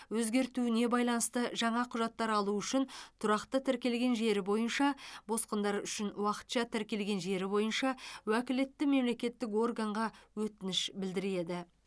өзгертуіне байланысты жаңа құжаттар алу үшін тұрақты тіркелген жері бойынша босқындар үшін уақытша тіркелген жері бойынша уәкілетті мемлекеттік органға өтініш білдіреді